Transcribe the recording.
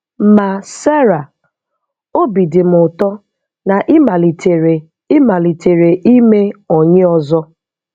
Ma, Sarah, óbì dị m ụtọ na ị malitere ị malitere ịme ọnyi ọzọ.